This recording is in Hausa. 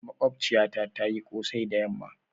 mogbaciyata tayi Kosai da yamma.